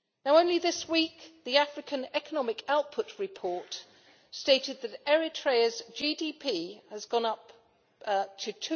Only this week, the African Economic Output Report stated that Eritrea's GDP has gone up to